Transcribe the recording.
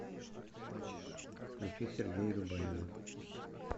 включи сергея любавина